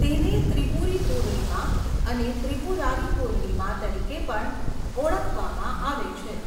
તેને ત્રિપુરી પૂર્ણિમા અને ત્રિપુરારી પૂર્ણિમા તરીકે પણ ઓળખવામાં આવે છે.